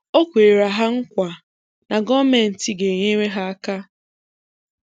O kwere ha nkwa na gọọmenti ga-enyere ha aka